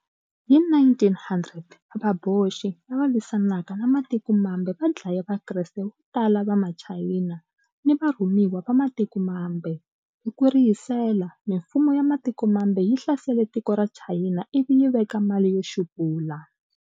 Hi 1900" Vaboxi" lava lwisanaka na matiko mambe va dlaye Vakreste vo tala va Machayina ni varhumiwa va matiko mambe, hi ku rihisela, mimfumo ya matiko mambe yi hlasele tiko ra Chayina ivi yi veka mali yo xupula.